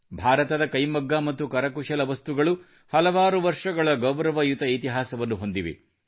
ಭಾರತದ ಕೈಮಗ್ಗ ಮತ್ತು ನಮ್ಮ ಕರಕುಶಲ ವಸ್ತುಗಳು ಹಲವಾರು ವರ್ಷಗಳ ಗೌರವಯುತ ಇತಿಹಾಸವನ್ನು ಹೊಂದಿವೆ